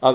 að